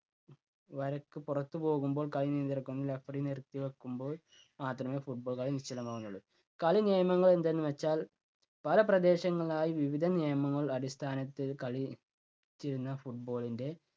വരക്ക് പുറത്തുപോകുമ്പോൾ കളി നിയന്ത്രിക്കുന്ന referee നിർത്തി വയ്ക്കുമ്പോൾ മാത്രമേ football കളി നിശ്ചലമാകുന്നുള്ളൂ. കളി നിയമങ്ങൾ എന്തെന്നു വച്ചാൽ പല പ്രദേശങ്ങളിലായി വിവിധ നിയമങ്ങൾ അടിസ്ഥാനത്തിൽ കളി തീർന്ന football ൻ്റെ